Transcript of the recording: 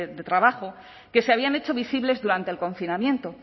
de trabajo que se habían hecho visibles durante el confinamiento